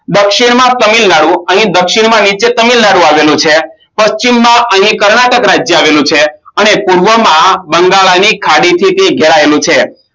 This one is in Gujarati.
દક્ષિણમાં તામિલનાડુ અને દક્ષિણમાં નીચે તમિલનાડુ આવેલ છે પશ્ચિમમાં અહીં કર્ણાટક આવેલું છે અને પૂર્વમાં બંગલાની ખાદી થી ઘેરાયેલું છે